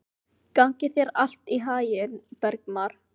Gangi þér allt í haginn, Bergmar.